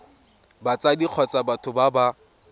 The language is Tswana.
batsadi kgotsa batho ba ba